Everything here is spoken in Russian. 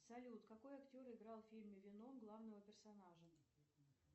салют какой актер играл в фильме веном главного персонажа